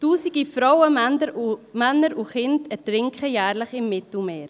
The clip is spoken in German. Tausende Frauen, Männer und Kinder ertrinken jährlich im Mittelmeer.